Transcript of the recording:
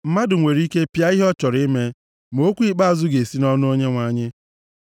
Mmadụ nwere ike pịa ihe ọ chọrọ ime, ma okwu ikpeazụ ga-esi nʼọnụ Onyenwe anyị.